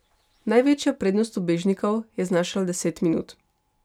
Največja prednost ubežnikov je znašala deset minut.